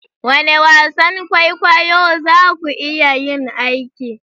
Wane wasan kwaikwayo za ku iya yin aiki?